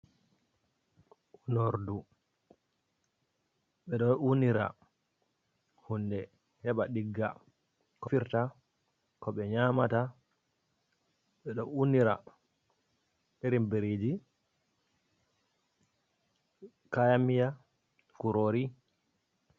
Unordu, ɓedo unira hunde heɓa ɗigga. Koɓe defirta, ko ɓe nƴamata. Ɓe ɗo unira irin biriji, kayanmiya, kurori.